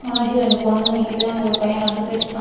முன்னாடி ரெண்டு பொண்ணுங்க நிக்கிது அங்க ஒரு பைய நடந்து போயிட்ருக்கா.